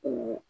O